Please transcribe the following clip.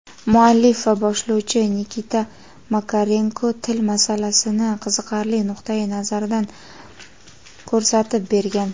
Muallif va boshlovchi Nikita Makarenko til masalasini qiziqarli nuqtai-nazardan ko‘rsatib bergan.